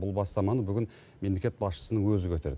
бұл бастаманы бүгін мемлекет басшысының өзі көтерді